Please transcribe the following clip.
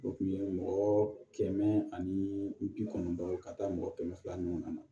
O kun ye mɔgɔ kɛmɛ ani bi kɔnɔntɔn ye ka taa mɔgɔ kɛmɛ fila ninnu na